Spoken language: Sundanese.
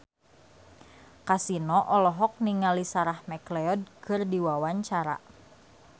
Kasino olohok ningali Sarah McLeod keur diwawancara